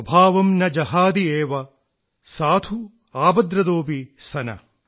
സ്വഭാവം ന ജഹാതി ഏവ സാധുഃ ആപദ്രതോപി സന